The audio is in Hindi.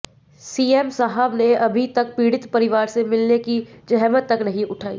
सीएम साहब ने अभी तक पीड़ित परिवार से मिलने की ज़हमत तक नहीं उठायी